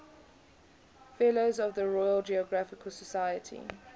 fellows of the royal geographical society